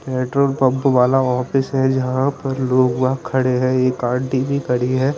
Petrol pump वाला यहाँ पे सब वहा पे लोग वहा खड़े है एक कार भी खड़ी है।